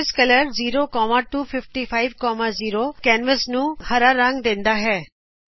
canvas colour 0ਕੈਨਵਸ ਨੂਂ ਹਰਾ ਰੰਗ ਦੇਂਦਾ ਹੈ